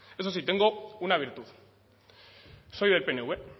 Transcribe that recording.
eso sí tengo una virtud soy del pnv